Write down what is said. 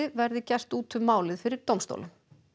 verði gert út um málið fyrir dómstólum